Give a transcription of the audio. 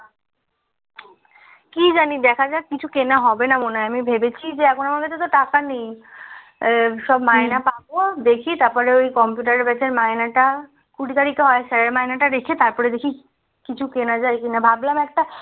কি জানি দেখা যাক কিছু কেনা হবে না মনে হয় আমি ভেবেছি আমার কাছে টাকা নেই আ সব মাইনা পাবো দেখি তারপর কম্পিউটার আর পেছনে এ মাইনাটা কুড়ি তারিকে হয় sir এর মানাটা রেখে তারপর দেখি কিছু কেনা যাই কিনা ভাবলাম একটা